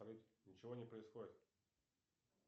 ничего не происходит